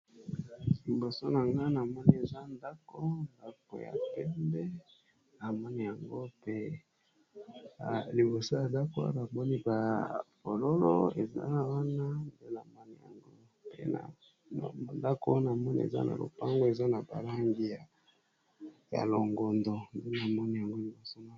Liboso na nga na moni eza ndako ndako ya pembe na moni yango pe liboso ya ndako Wana bamoni bafololo eza wana namoni yango pe ndako wana namoni eza na lopango eza na ba langi ya longondo pena moni yango liboso.